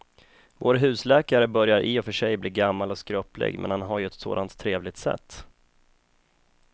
Vår husläkare börjar i och för sig bli gammal och skröplig, men han har ju ett sådant trevligt sätt!